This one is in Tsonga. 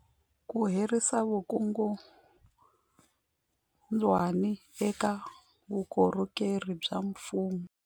Ku herisa vukungundwani eka vukorhokeri bya mfumo.